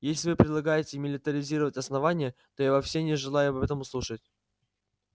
если вы предлагаете милитаризировать основание то я вовсе не желаю об этом слушать